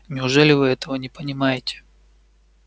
неужели вы этого не понимаете